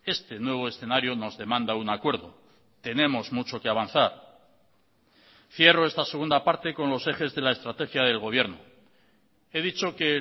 este nuevo escenario nos demanda un acuerdo tenemos mucho que avanzar cierro esta segunda parte con los ejes de la estrategia del gobierno he dicho que